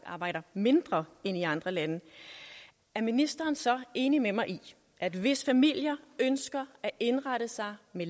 arbejder mindre end i andre lande er ministeren så enig med mig i at hvis familier ønsker at indrette sig med